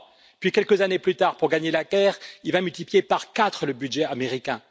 Puis, quelques années plus tard, pour gagner la guerre, il va multiplier par 4 le budget américain.